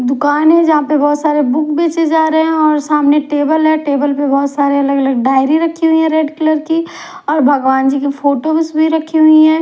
दुकान है जहां पर बहुत सारी बुक बेचें जा रहे हैं और सामने टेबल है टेबल पर बहुत सारी अलग अलग डायरी रखी हुई है रेड कलर की और भगवान जी की फोटो भी उसमें रखी हुई है।